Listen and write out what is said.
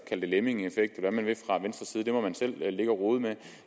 det lemmingeffekt eller hvad man vil fra venstres side det må man selv ligge at rode med